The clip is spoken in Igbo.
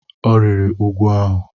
Ọ rịrị úgwù ahụ.